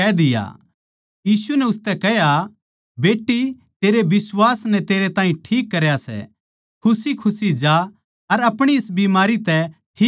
यीशु नै उसतै कह्या बेट्टी तेरै बिश्वास नै तेरै ताहीं ठीक करया सै खुशीखुशी जा अर आपणी इस बीमारी तै ठीक रह